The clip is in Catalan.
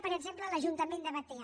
per exemple l’ajuntament de batea